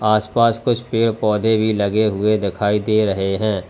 आस पास कुछ पेड़ पौधे भी लगे हुए दिखाई दे रहे हैं।